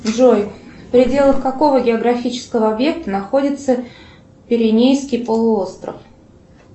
джой в пределах какого географического объекта находится пиренейский полуостров